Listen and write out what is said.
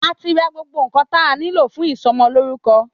Àti rà gbogbo ńkan tà nílò fún ìsọmọ lórúkọ